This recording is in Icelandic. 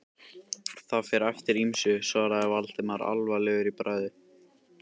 Það fer eftir ýmsu- svaraði Valdimar alvarlegur í bragði.